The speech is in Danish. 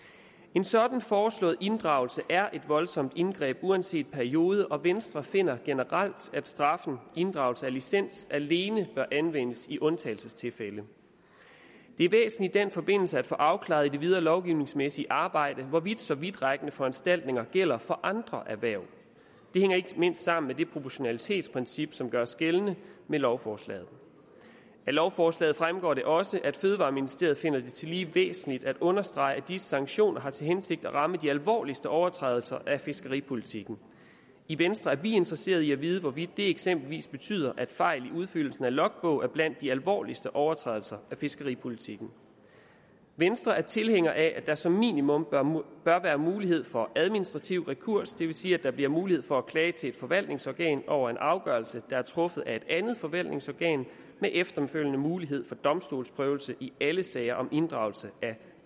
en sådan foreslået inddragelse er et voldsomt indgreb uanset periode og venstre finder generelt at straffen inddragelse af licens alene bør anvendes i undtagelsestilfælde det er væsentligt i den forbindelse at få afklaret i det videre lovgivningsmæssige arbejde hvorvidt så vidtrækkende foranstaltninger gælder for andre erhverv det hænger ikke mindst sammen med det proportionalitetsprincip som gøres gældende med lovforslaget af lovforslaget fremgår det også at fødevareministeriet tillige væsentligt at understrege at de sanktioner har til hensigt at ramme de alvorligste overtrædelser af fiskeripolitikken i venstre er vi interesseret i at vide hvorvidt det eksempelvis betyder at fejl i udfyldelsen af logbog er blandt de alvorligste overtrædelser af fiskeripolitikken venstre er tilhængere af at der som minimum bør være mulighed for administrativ rekurs det vil sige at der bliver mulighed for at klage til et forvaltningsorgan over en afgørelse der er truffet af et andet forvaltningsorgan med efterfølgende mulighed for domstolsprøvelse i alle sager om inddragelse af